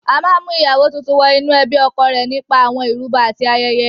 A máa ń mú ìyàwó tuntun wọ inú ẹbí ọkọ rẹ̀ nípa àwọn ìrúbọ àti ayẹyẹ.